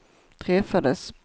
träffades